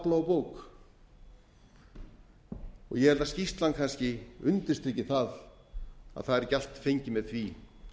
á bók ég held að skýrslan kannski undirstriki það að það er ekki allt fengið með því